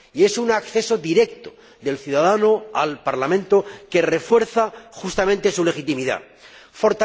Es un acceso directo del ciudadano al Parlamento que refuerza, justamente, la legitimidad de éste.